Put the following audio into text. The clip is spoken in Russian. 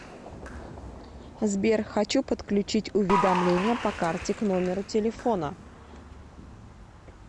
сбер хочу подключить уведомления по карте к номеру телефона